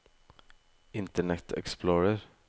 internet explorer